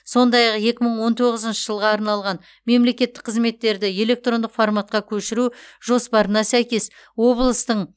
сондай ақ екі мың он тоғызыншы жылға арналған мемлекеттік қызметтерді электрондық форматқа көшіру жоспарына сәйкес облыстың